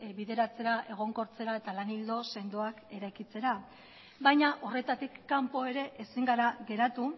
bideratzera egonkortzera eta lan ildo sendoak eraikitzera baina horretatik kanpo ere ezin gara geratu